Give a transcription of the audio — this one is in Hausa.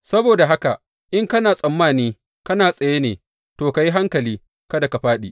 Saboda haka in kana tsammani kana tsaye ne, to, ka yi hankali kada ka fāɗi!